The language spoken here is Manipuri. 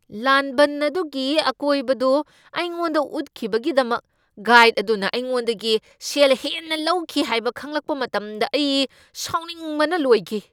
ꯂꯥꯟꯕꯟ ꯑꯗꯨꯒꯤ ꯑꯀꯣꯏꯕꯗꯨ ꯑꯩꯉꯣꯟꯗ ꯎꯠꯈꯤꯕꯒꯤꯗꯃꯛ ꯒꯥꯏꯗ ꯑꯗꯨꯅ ꯑꯩꯉꯣꯟꯗꯒꯤ ꯁꯦꯜ ꯍꯦꯟꯅ ꯂꯧꯈꯤ ꯍꯥꯏꯕ ꯈꯪꯂꯛꯄ ꯃꯇꯝꯗ ꯑꯩ ꯁꯥꯎꯅꯤꯡꯕꯅ ꯂꯣꯏꯈꯤ꯫